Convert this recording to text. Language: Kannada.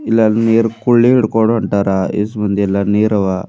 ಇಲ್ಲಿ ಅ ನೀರ್ ಕುಳ್ಳಿ ಹಿಡಕೊಂಡ್ ಹೊಂತಾರ ಇಸ್ ಬಂದಿಎಲ್ಲಾ ನೀರ ಆವಾ.